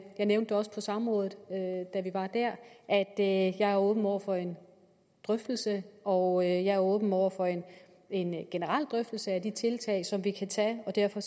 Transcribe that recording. nævnte også på samrådet da vi var der at jeg er åben over for en drøftelse og jeg er åben over for en generel drøftelse af de tiltag som vi kan tage og derfor